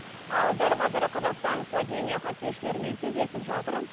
ал дәл қазір қазақстан словения хоккейшілермен кездесіп жатырмын